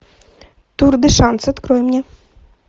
тур де шанс открой мне